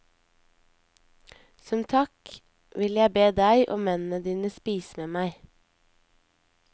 Som takk vil jeg be deg og mennene dine spise med meg.